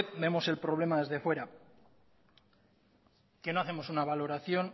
vemos el problema desde fuera que no hacemos una valoración